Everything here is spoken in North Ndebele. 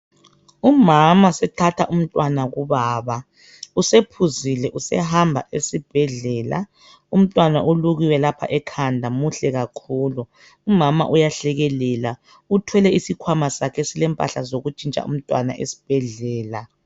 Umama usethatha umntwana kubaba, usephuzile usehamba esibhedlela, umntwana ulukiwe lapha ekhanda muhle kakhulu, umama uyahlekelela, uthwele isikhwama sakhe esilempahla zokuntshintsa umntwana esibhedlela.